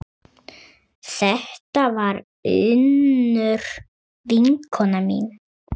Þetta var Unnur vinkona mín.